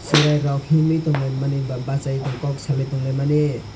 cherai rok himlui tongmani ba baisai kok salai tongmani.